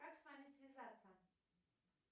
как с вами связаться